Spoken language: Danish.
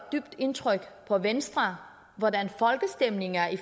dybt indtryk på venstre hvordan folkestemningen er i